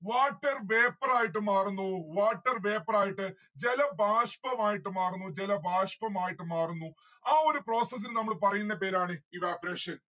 water vaour ആയിട്ട് മാറുന്നു water vapour ആയിട്ട്. ജലഭാഷ്‌മം ആയിട്ട് മാറുന്നു ജലഭാഷ്‌മമായിട്ട് മാറുന്നു ആ ഒരു process ന് നമ്മള് പറയുന്ന പേരാണ് evaporation